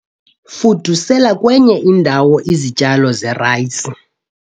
fudusela kwenye indawo izityalo zerayisi